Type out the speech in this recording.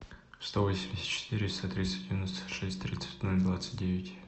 сто восемьдесят четыре сто тридцать девяносто шесть тридцать ноль двадцать девять